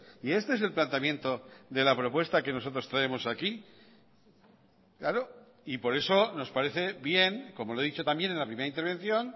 y este es el planteamiento de la propuesta que nosotros traemos aquí claro y por eso nos parece bien como le he dicho también en la primera intervención